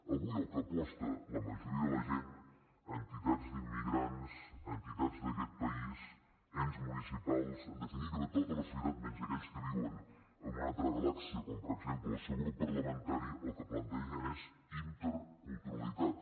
avui pel que aposta la majoria de la gent entitats d’immigrants entitats d’aquest país ens municipals en definitiva tota la societat menys aquells que viuen en una altra galàxia com per exemple el seu grup parlamentari el que plantegen és interculturalitat